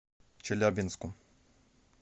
челябинску